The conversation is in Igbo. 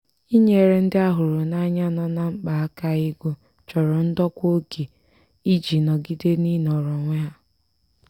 inyere ndị a hụrụ n'anya nọ na mkpa aka ego chọrọ ndokwa oke iji nọgide n'inọrọ onwe ha.